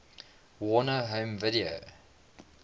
warner home video